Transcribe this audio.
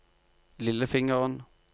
lillefingeren